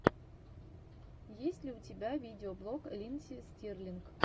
есть ли у тебя видеоблог линдси стирлинг